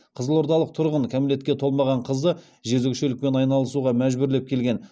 қызылордалық тұрғын кәмелетке толмаған қызды жезөкшелікпен айналысуға мәжбүрлеп келген